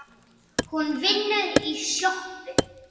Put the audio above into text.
Hún vinnur í sjoppu